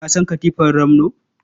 Ka san katifar ramno?